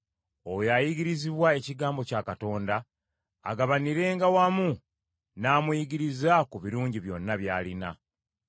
Oyo ayigirizibwa ekigambo kya Katonda, agabanirenga wamu n’amuyigiriza ku birungi byonna by’alina.